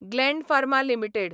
Gland Pharma limited